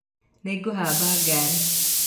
Nĩngũhamba ngaari.